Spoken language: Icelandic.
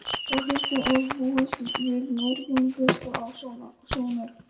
Þórhildur, er búist við mörgum gestum á Sónar?